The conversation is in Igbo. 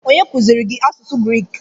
Onye kuziiri gị asụsụ Griik?